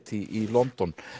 í London